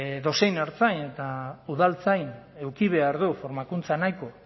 edozein ertzain eta udaltzain eduki behar du formakuntza nahiko